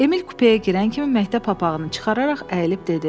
Emil kupeyə girən kimi məktəb papağını çıxararaq əyilib dedi: